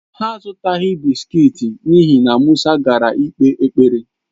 Ha azùtaghi bị́sikití n'ihi na Musa gara ikpe ekpere